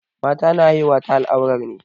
Mata na haihuwa ta al'aurar ne.